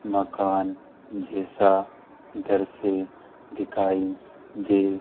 मकान जैसा दृश्य दिखाई दे--